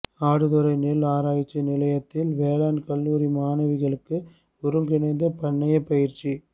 ஆடுதுறை நெல் ஆராய்ச்சி நிலையத்தில் வேளாண் கல்லூரி மாணவிகளுக்கு ஒருங்கிணைந்த பண்ணைய பயிற்சி